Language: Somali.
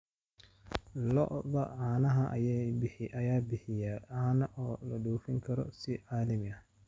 Lo'da caanaha ayaa bixiya caano loo dhoofin karo si caalami ah.